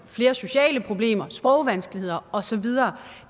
flere sociale problemer sprogvanskeligheder og så videre